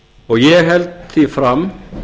og ég held því fram